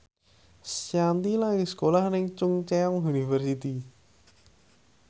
Shanti lagi sekolah nang Chungceong University